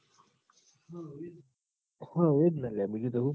હઓ એ જ ન લ્યા બીજું તો હું